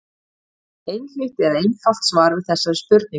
Ekki er til einhlítt eða einfalt svar við þeirri spurningu.